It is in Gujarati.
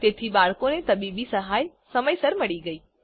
તેથી બાળકને તબીબી સહાય સમયસર મળી ગયી